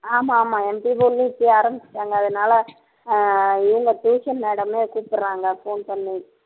ஆமா ஆமா MP இப்பயே ஆரம்பிச்சுட்டாங்க அதனால ஆஹ் இவங்க tuition madam ஏ கூப்பிடறாங்க phone பண்ணி